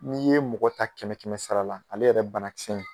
N'i ye mɔgɔ ta kɛmɛ kɛmɛ sara la ale yɛrɛ banakisɛ in